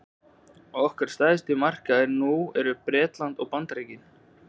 okkar stærstu markaðir nú eru bretland og bandaríkin